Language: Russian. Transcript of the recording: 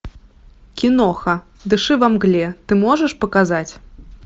киноха дыши во мгле ты можешь показать